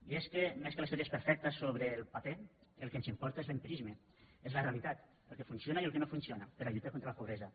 i és que més que les teories perfectes sobre el paper el que ens importa és l’empirisme és la realitat el que funciona i el que no funciona per a lluitar contra la pobresa